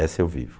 Essa eu vivo.